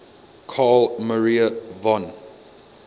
carl maria von